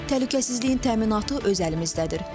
Təhlükəsizliyin təminatı öz əlimizdədir.